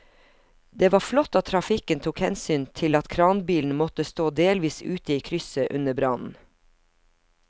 Det var flott at trafikken tok hensyn til at kranbilen måtte stå delvis ute i krysset under brannen.